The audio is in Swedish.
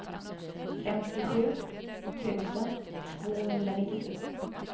femtiosju tusen tvåhundranittiotre